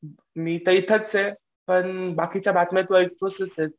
मी तर इथेच आहे पण बाकीच्या बातम्या तू ऐकतच आहेस.